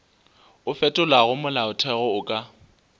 o fetolago molaotheo o ka